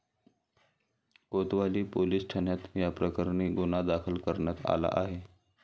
कोतवाली police ठाण्यात याप्रकरणी गुन्हा दाखल करण्यात आला आहे.